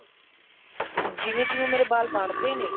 ਜਿਵੇਂ ਜਿਵੇਂ ਮੇਰੇ ਵਾਲ ਬੜਦੇ ਨੇ